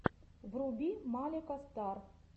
вруби малика стар